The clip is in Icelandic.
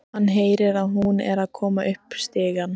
Hann heyrir að hún er að koma upp stigann.